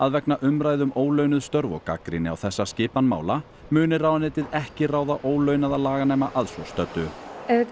vegna umræðu um ólaunuð störf og gagnrýni á þessa skipan mála muni ráðuneytið hins ekki ráða ólaunaða laganema að svo stöddu auðvitað